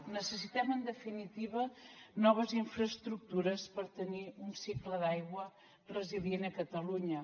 necessitem en definitiva noves infraestructures per tenir un cicle d’aigua resilient a catalunya